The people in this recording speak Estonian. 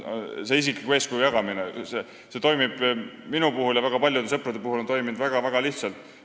See isikliku eeskuju jagamine on minu ja väga paljude sõprade puhul toiminud väga-väga lihtsalt.